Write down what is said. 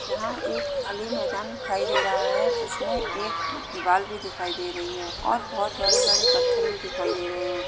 यहाँं एक खाली मैदान दिखाई दे रहा है जिसमें एक दीवाल भी दिखाई दे रही है और बहुत बड़े-बड़े पत्थर भी दिखाई दे रहे हैं।